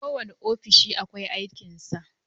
Kowanne ofishi akwai aikin sa